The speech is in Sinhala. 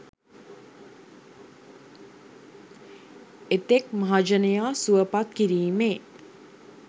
එතෙක් මහජනයා සුවපත් කිරීමේ